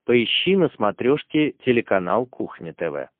поищи на смотрешке телеканал кухня тв